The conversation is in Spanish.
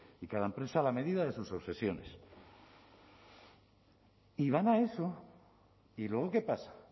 y cada empresa a la medida de sus obsesiones y van a eso y luego qué pasa